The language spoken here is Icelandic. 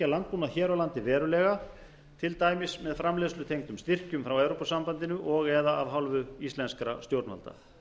landbúnað hér á landi verulega til dæmis með framleiðslutengdum styrkjum frá evrópusambandinu og eða af hálfu íslenskra stjórnvalda